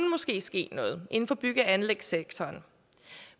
ske noget inden for bygge og anlægssektoren